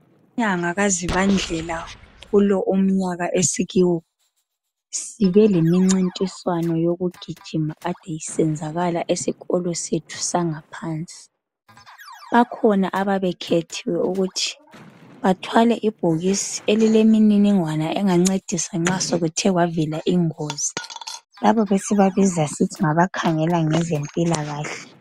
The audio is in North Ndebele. Inyanga kaZibandlela kulo umnyaka esikiwo, sibe lemincintiswano yokugijima ade isenzakala esikolo sethu sangaphansi. Bakhona ababekhethiwe ukuthi bathwale ibhokisi elilemininingwana engancedisa nxa sekuthe kwavela ingozi. Laba besibabiza sisithi ngabakhangela ngezempilakahle.